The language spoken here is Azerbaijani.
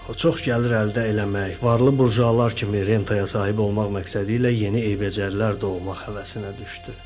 O çox gəlir əldə eləmək, varlı burjualar kimi rentaya sahib olmaq məqsədi ilə yeni eybəcərlər doğmaq həvəsinə düşdü.